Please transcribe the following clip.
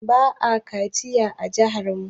Ba a mata kaciya a jihar mu